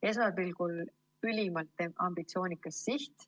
Esmapilgul ülimalt ambitsioonikas siht.